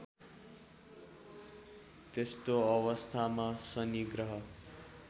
त्यस्तो अवस्थामा शनि ग्रह